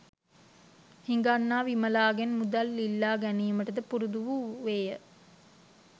හිඟන්නා විමලාගෙන් මුදල් ඉල්ලා ගැනීමටද පුරුදු වූවේය